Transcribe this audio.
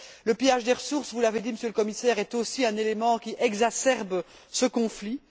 Le pillage des ressources, vous l'avez, dit Monsieur le Commissaire, est aussi un élément qui exacerbe ce conflit.